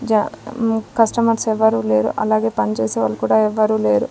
జ కస్టమర్స్ ఎవరూ లేరు అలాగే పని చేసే వాళ్ళు కూడా ఎవరూ లేరు.